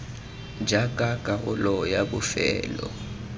jaaka karolo ya bofelo ya